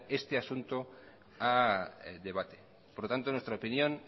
este asunto al debate nuestra opinión